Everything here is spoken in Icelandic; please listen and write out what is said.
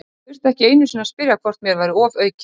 Ég þurfti ekki einu sinni að spyrja hvort mér væri ofaukið.